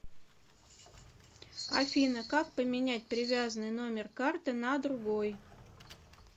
афина как поменять привязанный номер карты на другой